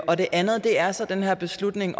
og det andet er så den her beslutning